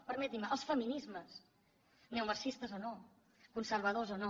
permetin me els feminismes neomarxistes o no conservadors o no